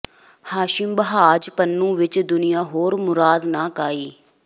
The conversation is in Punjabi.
ਹਾਸ਼ਿਮ ਬਾ੍ਹਝ ਪੁਨੂੰ ਵਿਚ ਦੁਨੀਆ ਹੋਰ ਮੁਰਾਦ ਨਾ ਕਾਈ